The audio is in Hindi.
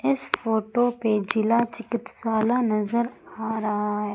इस फोटो पे जिला चिकित्साल नज़र आ रहा है।